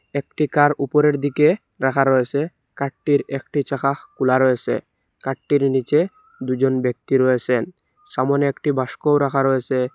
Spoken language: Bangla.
একটি কার উপরের দিকে রাখা রয়েছে কারটির একটি চাকা খোলা রয়েছে কারটির নীচে দুজন ব্যক্তি রয়েছেন সামোনে একটি বাস্কও রাখা রয়েছে।